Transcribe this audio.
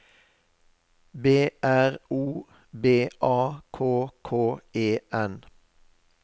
B R O B A K K E N